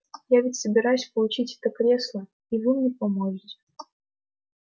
я ведь собираюсь получить это кресло и вы мне поможете